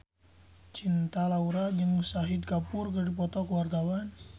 Cinta Laura jeung Shahid Kapoor keur dipoto ku wartawan